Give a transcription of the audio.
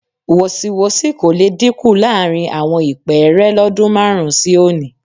Wọ̀sìwọ́sì kò le dínkù láàrin àwọn ìpẹ́ẹ́rẹ́ lọ́dún márùn-ún sí òní